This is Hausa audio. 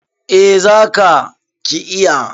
Eh za ka /ki iya.